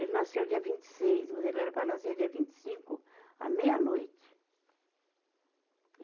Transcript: Ele nasceu dia vinte e seis, mas ele era para nascer dia vinte e cinco à meia-noite.